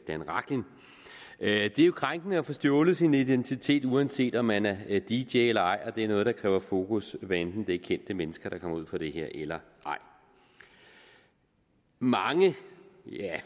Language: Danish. er jo krænkende at få stjålet sin identitet uanset om man er dj eller ej det er noget der kræver fokus hvad enten det er kendte mennesker der kommer ud for det her eller ej mange